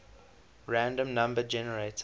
random number generator